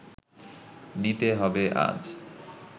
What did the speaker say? নিতে হবে আজ